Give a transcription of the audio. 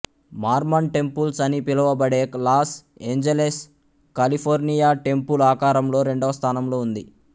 Mormon temples అని పిలబడే Los Angeles California temple ఆకారంలో రెండవస్థానంలో ఉంది